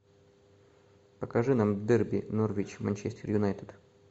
покажи нам дерби норвич манчестер юнайтед